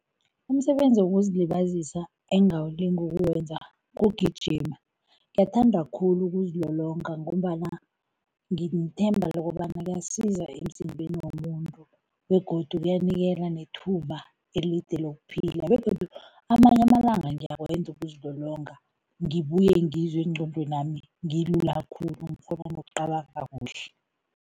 Umsebenzi wokuzilibazisa engawulinga ukuwenza kugijima. Ngiyathanda khulu ukuzilolonga ngombana nginethemba lokobana kuyasiza emzimbeni womuntu begodu kuyanikela nethuba elide lokuphila begodu amanye amalanga ngiyakwenza ukuzilolonga, ngibuye ngizwe engqondwenami ngilula khulu, ngikghona nokucabanga kuhle.